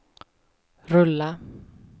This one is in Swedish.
rulla